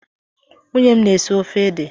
Nwunye m na-esi ofe ede.